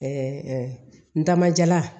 n dama jala